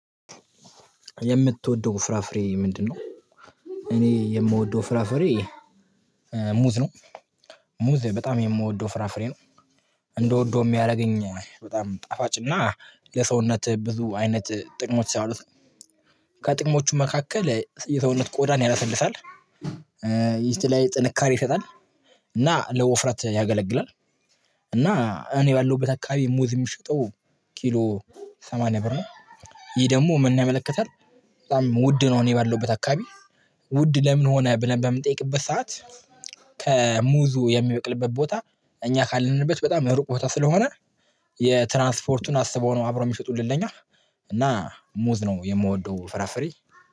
የምትወደው ፍራፍሬ ምንድነው? እኔ የምወደው ፍራፍሬ ሙዝ ነው። ሙዝ በጣም የምወደው ፍራፍሬ ነው። እንድወደው የሚያደርገኝ በጣም ጣፋጭ እና ለሰውነት ብዙ አይነት ጥቅሞች ሲያወሩት። ከጥቅሞቹ መካከል የሰውነትን ቆዳን ያለሰልሳል። ሚስት ላይ ጥንካሬ ይሰጣል። እና ለውፍረት ያገለግላል። እና እኔ ባለሁበት አከባቢ ሙዝ የሚሸጠው ኪሎ ሰማንያ ብር ነው። ይሄ ደግሞ ምንን ያመለክታል በጣም ውድ ነው እኔ ባለሁበት አካባቢ ውድ ለምን ሆነ ብለን በምንጠይቅበት ሰዓት ከሙዙ የሚበቅልበት ቦታ እኛ ካለንበት በጣም ሩቅ ቦታ ስለሆነ የትራንስፖርቱን አስበው ነው አብሮ የሚሸጡልን ለኛ እና ሙዝ ነው የምወደው ፍራፍሬ።